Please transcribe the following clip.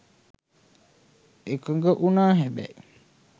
එකඟ වුණා හැබැයි